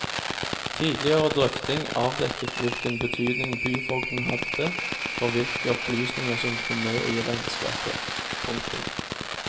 Tidligere drøfting avdekket hvilken betydning byfogden hadde for hvilke opplysninger som kom med i regnskapet. punktum